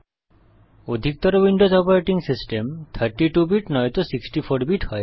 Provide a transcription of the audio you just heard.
অধিকতর Windows operating system 32 bit নয়তো 64 bit হয়